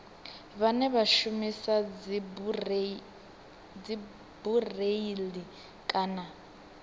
vhane vha shumisa dzibureiḽi kana